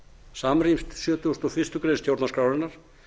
samrýmst sjötugasta og fyrstu grein stjórnarskrárinnar